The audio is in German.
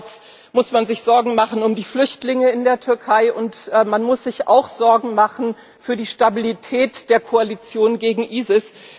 Andererseits muss man sich Sorgen machen um die Flüchtlinge in der Türkei, und man muss sich auch Sorgen machen um die Stabilität der Koalition gegen ISIS.